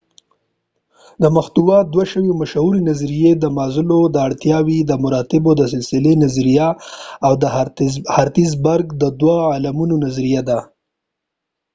د محتوا دوه مشهورې نظریې د مازلو د اړتیاوو د مراتبو د سلسلې نظریه او د هرټزبرګ دوه عاملونو نظریه دي